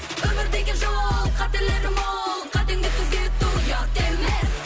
өмір деген жол қателері мол қатеңді түзету ұят емес